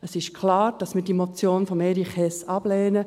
Es ist klar, dass wir die Motion von Erich Hess ablehnen.